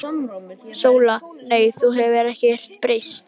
SÓLA: Nei, þú hefur ekkert breyst.